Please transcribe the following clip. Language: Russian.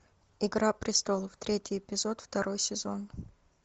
игра престолов третий эпизод второй сезон